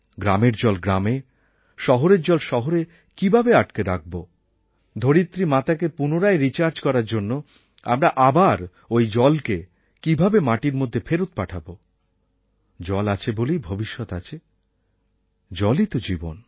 গ্রামের জল গ্রামে শহরের জল শহরে কীভাবে আটকে রাখব ধরিত্রী মাতাকে পুনরায় রিচার্জ করার জন্য আমরা আবার ঐ জলকে কীভাবে মাটির মধ্যে ফেরত পাঠাব জল আছে বলেই ভবিষ্যৎ আছে জলই তো জীবন